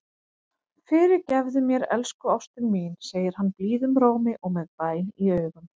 Fyrirgefðu mér, elsku ástin mín, segir hann blíðum rómi og með bæn í augum.